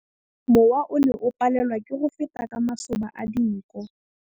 Mowa o ne o palelwa ke go feta ka masoba a dinko.